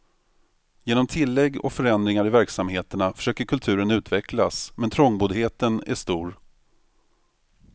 Genom tillägg och förändringar i verksamheterna försöker kulturen utvecklas, men trångboddheten är stor.